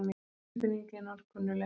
Tilfinningin var kunnugleg.